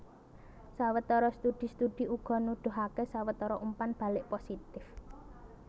Sawetara studi studi uga nuduhaké sawetara umpan balik positif